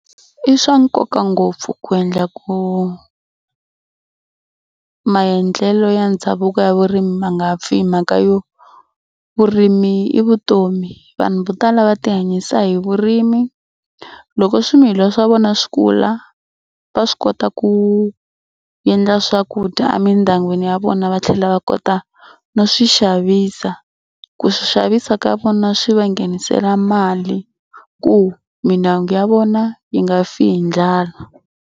I swa nkoka ngopfu ku endla ku maendlelo ya ndhavuko ya vurimi ma nga pfi hi mhaka yo vurimi i vutomi. Vanhu vo tala va tihanyisa hi vurimi loko swimilwa swa vona swi kula va swi kota ku endla swakudya emindyangwini ya vona va tlhela va kota no swi xavisa. Ku swi xavisa ka vona swi va nghenisela mali ku mindyangu ya vona yi nga fi hi ndlala.